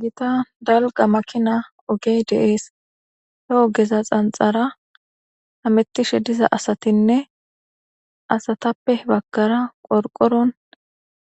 gita dalqa makina ogey deees he ogeza xanxara hamettishe diza asatinne asatappe baggara qorqoron